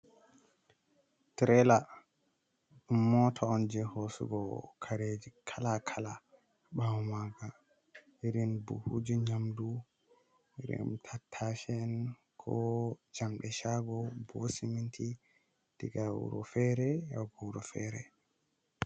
Tiralla mota on je hosugo kareji kala kala. Bawo maga irin buhuji nyamɗu kala-kala. Irim buhuji nyamɗu, irin tatase en, ko jamɗe shago, bohu seminti. Ɗiga wuro fere yahugo wuro fere.